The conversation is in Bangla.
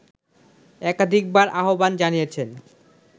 একাধিকবার আহ্বান জানিয়েছেন